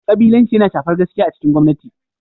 Kabilanci yana shafar gaskiya a cikin gwamnati.